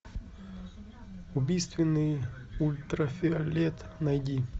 убийственный ультрафиолет найди